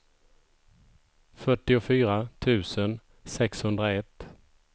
fyrtiofyra tusen sexhundraett